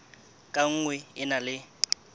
ka nngwe e na le